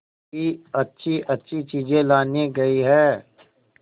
बड़ी अच्छीअच्छी चीजें लाने गई है